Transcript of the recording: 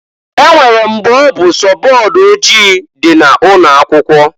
E nwere mgbe ọ bụ sọ board ojii di na ụnọ akwụkwo.